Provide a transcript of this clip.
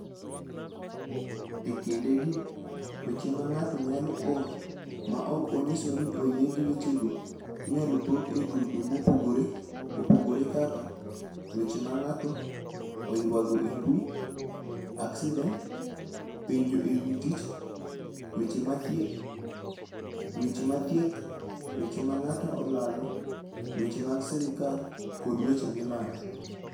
E kindegi, weche ma ng'ato nyalo oro ma ok onyiso ni oyie gi wechego, inyalo pog e grube mopogore opogore kaka, weche ma ng'ato oywago e mbui, aksident, penjo e wi tich, weche thieth, weche ma ng'ato olalo, weche mag sirkal, kod weche milando.